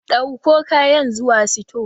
Ɗauko kayan zuwa sito.